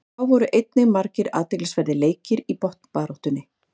Þá voru einnig margir athyglisverðir leikir í botnbaráttunni.